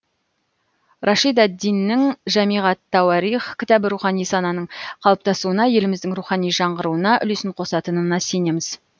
рашид ад диннің жамиғ ат тауарих кітабы рухани сананың қалыптасуына еліміздің рухани жаңғыруына үлесін қосатынына сенеміз